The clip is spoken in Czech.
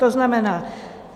To znamená: